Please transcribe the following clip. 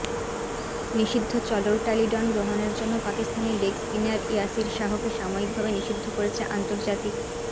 নিষিদ্ধ চলোরটালিডন গ্রহণের জন্য পাকিস্তানি লেগ স্পিনার ইয়াসির শাহকে সাময়িকভাবে নিষিদ্ধ করেছে আন্তর্জাতিক